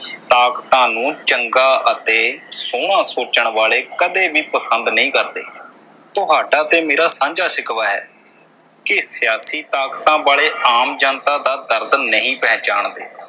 ਤਾਕਤਾਂ ਨੂੰ ਚੰਗਾ ਅਤੇ ਸੋਹਣਾ ਸੋਚਣ ਵਾਲੇ ਕਦੇ ਵੀ ਪਸੰਦ ਨਹੀਂ ਕਰਦੇ। ਤੁਹਾਡਾ ਤੇ ਮੇਰਾ ਸਾਂਝਾ ਸ਼ਿਕਵਾ ਹੈ ਕਿ ਸਿਆਸੀ ਤਾਕਤਾਂ ਵਾਲੇ ਆਮ ਜਨਤਾ ਦਾ ਦਰਦ ਨਹੀਂ ਪਹਿਚਾਨਦੇ।